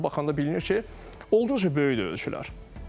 Bir də baxanda bilinir ki, olduqca böyükdür ölçülər.